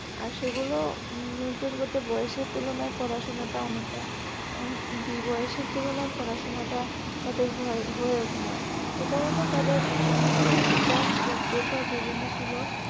আর সেগুলো বয়সের তুলনায় পড়াশোনাটা অনেকটা যে বয়সের তুলনায় পড়াশোনা টা তাদের হয়ে ওঠে নাই, একারণেই তাদের শিশুবিকাস যতটা জরুরি ছিলো